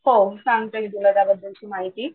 हो सांगते मी तुला या बद्दलची माहिती.